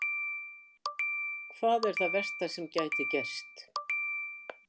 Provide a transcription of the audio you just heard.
Hvað er það versta sem gæti gerst?